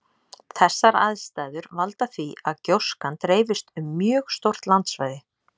Þessar aðstæður valda því að gjóskan dreifist um mjög stórt landsvæði.